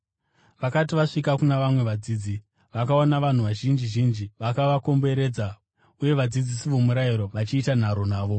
Vakati vasvika kuna vamwe vadzidzi, vakaona vanhu vazhinji zhinji vakavakomberedza uye vadzidzisi vomurayiro vachiita nharo navo.